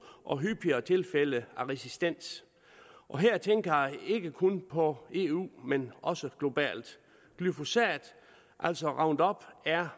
og hyppigere tilfælde af resistens her tænker jeg ikke kun på eu men også globalt glyphosat altså roundup er